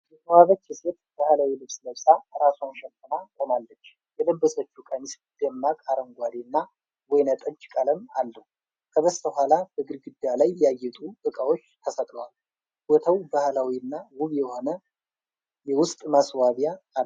የተዋበች ሴት ባህላዊ ልብስ ለብሳ ራሷን ሸፍና ቆማለች። የለበሰችው ቀሚስ ደማቅ አረንጓዴ እና ወይን ጠጅ ቀለም አለው። ከበስተኋላ በግድግዳ ላይ ያጌጡ ዕቃዎች ተሰቅለዋል። ቦታው ባህላዊ እና ውብ የሆነ የውስጥ ማስዋቢያ አለው።